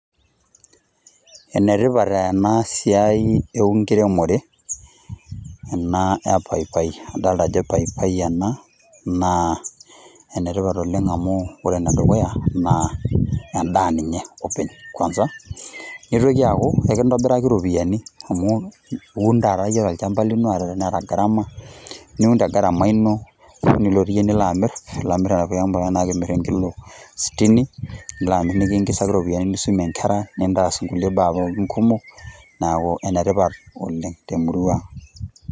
Ene tipat ena siai enkiremore ena e paipai . edalta Ajo paipai ena naa ene tipat oleng amu ore ene dukuya naa en'daa ninye openy kwanza. Neitoki aaku ,ekintobiraki iropiyian amu uun taata tolchamba lino ata teneeta garama ,niun te garama ino ,nilotu iyie nilo amir . Nimirr enkilo stini ,nitum iropiyian nisumie inkera ,nintaas nkulie baa pookin kumok neeku ene tipat oleng te murrua.